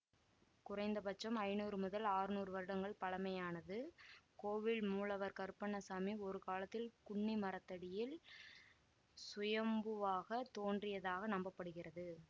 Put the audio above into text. குறைந்த பட்சம் ஐநூறு முதல் ஆற்நூறு வருடங்கள் பழைமையானது கோவில் மூலவர் கருப்பண்ண சாமி ஒரு காலத்தில் குன்னிமரத்தடியில் சுயம்புவாக தோன்றியதாக நம்ப படுகிறது